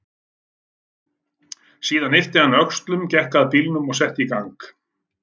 Síðan yppti hann öxlum, gekk að bílnum og setti í gang.